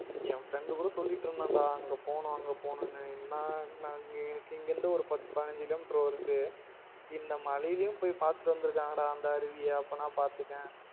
என் friend கூட சொல்லிடு இருந்தான் டா அங்க போனோம் அங்க போனன்னு என்னா இங்க இருந்து பத்து பதிஞ்சஞ்சு கிலோமீட்டர் வருத இந்த மழயிலையும் போயி பாத்துட்டு வந்துருக்காங்க டா அந்த அருவியா அப்பனா பாத்துகோயேன்